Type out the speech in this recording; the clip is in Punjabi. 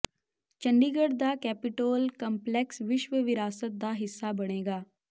ਚੰਡੀਗੜ੍ਹ ਦਾ ਕੈਪੀਟੋਲ ਕੰਪਲੈਕਸ ਵਿਸ਼ਵ ਵਿਰਾਸਤ ਦਾ ਹਿੱਸਾ ਬਣੇਗਾ